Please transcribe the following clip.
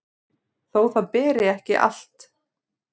þó það beri ekki allt